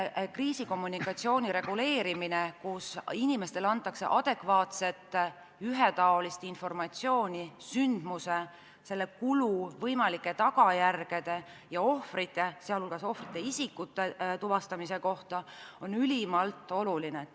Kriisikommunikatsiooni reguleerimine nii, et inimestele antakse adekvaatset ühetaolist informatsiooni sündmuse, selle kulu, tagajärgede ja võimalike ohvrite kohta, on ülimalt oluline.